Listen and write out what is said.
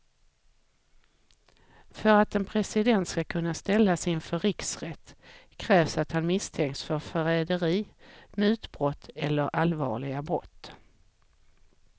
För att en president ska kunna ställas inför riksrätt krävs att han misstänks för förräderi, mutbrott eller allvarliga brott.